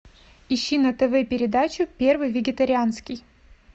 ищи на тв передачу первый вегетарианский